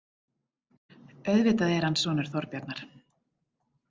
Auðvitað er hann sonur Þorbjarnar.